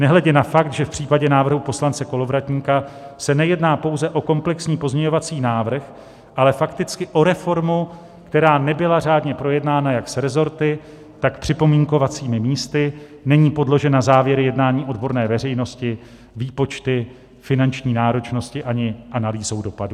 Nehledě na fakt, že v případě návrhu poslance Kolovratníka se nejedná pouze o komplexní pozměňovací návrh, ale fakticky o reformu, která nebyla řádně projednána jak s resorty, tak připomínkovacími místy, není podložen závěry jednání odborné veřejnosti, výpočty finanční náročnosti ani analýzou dopadů."